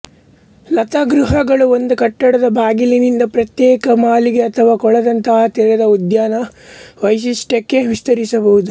ಲತಾಗೃಹಗಳು ಒಂದು ಕಟ್ಟಡದ ಬಾಗಿಲಿನಿಂದ ಪ್ರತ್ಯೇಕ ಮಾಳಿಗೆ ಅಥವಾ ಕೊಳದಂತಹ ತೆರೆದ ಉದ್ಯಾನ ವೈಶಿಷ್ಟ್ಯಕ್ಕೆ ವಿಸ್ತರಿಸಬಹುದು